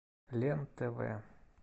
лен тв